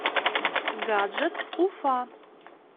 гаджет уфа